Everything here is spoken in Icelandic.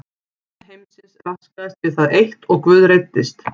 Skipan heimsins raskaðist við það eitt og Guð reiddist.